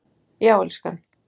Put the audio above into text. Já, elskan.